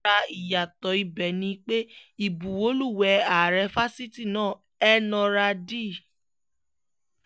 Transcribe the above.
lára ìyàtọ̀ ibẹ̀ ni pé ìbuwọ́lùwéè ààrẹ fásitì náà elnora d